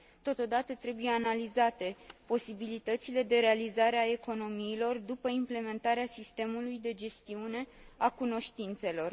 Totodată, trebuie analizate posibilitățile de realizare a economiilor după implementarea sistemului de gestiune a cunoștințelor.